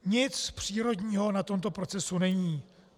Nic přírodního na tomto procesu není.